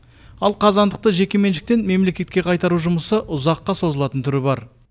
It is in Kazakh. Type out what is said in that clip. ал қазандықты жекеменшіктен мемлекетке қайтару жұмысы ұзаққа созылатын түрі бар